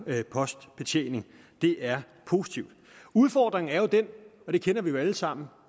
postbetjening det er positivt udfordringen er jo den og det kender vi alle sammen